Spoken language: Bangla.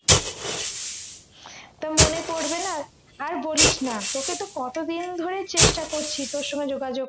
তো মনে পড়বে না আর বলিস না তোকে তো কতদিন ধরে চেষ্টা করছি তোর সঙ্গে যোগাযোগ